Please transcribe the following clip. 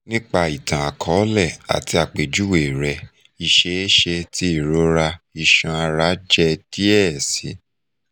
nipa itan-akọọlẹ ati apejuwe rẹ iṣeeṣe ti irora iṣan-ara jẹ diẹ sii